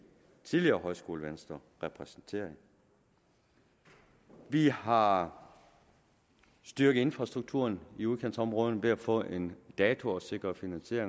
tidligere højskolevenstre repræsenterede vi har styrket infrastrukturen i udkantsområderne ved at få en dato og sikre finansiering